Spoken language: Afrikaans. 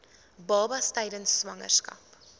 babas tydens swangerskap